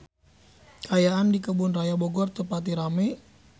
Kaayaan di Kebun Raya Bogor teu pati rame